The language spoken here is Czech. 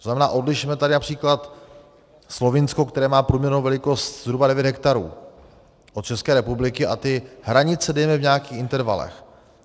To znamená, odlišme tady například Slovinsko, které má průměrnou velikost zhruba 9 hektarů, od České republiky a ty hranice dejme v nějakých intervalech.